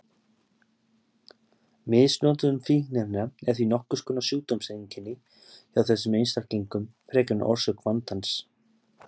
Misnotkun fíkniefna er því nokkurs konar sjúkdómseinkenni hjá þessum einstaklingum frekar en orsök vandans.